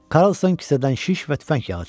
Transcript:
Karlson kisədən şiş və tüfəng yağı çıxartdı.